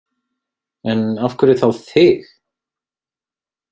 En af hverju þá þig?